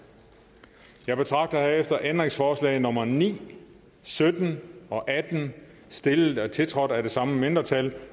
jeg betragter herefter er ændringsforslag nummer ni sytten og atten stillet og tiltrådt af de samme mindretal